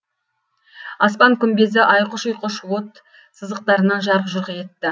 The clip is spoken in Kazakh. аспан күмбезі айқұш ұйқыш от сызықтарынан жарқ жұрқ етті